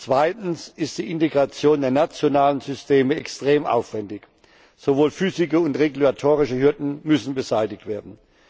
Zweitens ist die Integration der nationalen Systeme extrem aufwändig. Sowohl physische als auch regulatorische Hürden müssen beseitigt werden.